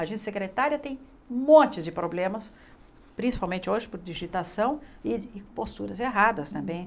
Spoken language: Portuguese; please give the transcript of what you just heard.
A gente secretária tem um monte de problemas, principalmente hoje por digitação e posturas erradas também.